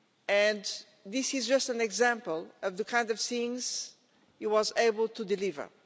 And this is just an example of the kind of things he was able to deliver.